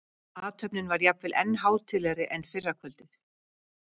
Athöfnin var jafnvel enn hátíðlegri en fyrra kvöldið.